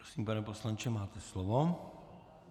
Prosím, pane poslanče, máte slovo.